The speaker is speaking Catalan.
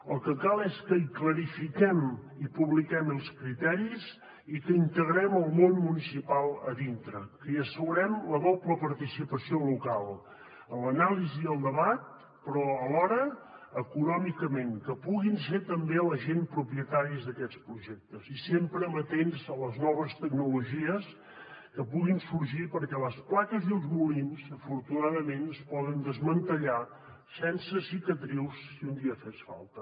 el que cal és que hi clarifiquem i publiquem els criteris i que integrem el món municipal a dintre que hi assegurem la doble participació local l’anàlisi i el debat però alhora econòmicament que puguin ser també la gent propietaris d’aquests projectes i sempre amatents a les noves tecnologies que puguin sorgir perquè les plaques i els molins afortunadament es poden desmantellar sense cicatrius si un dia fes falta